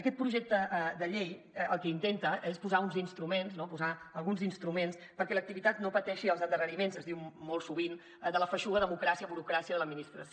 aquest projecte de llei el que intenta és posar uns instruments no posar alguns instruments perquè l’activitat no pateixi els endarreriments es diu molt sovint de la feixuga democràcia burocràcia de l’administració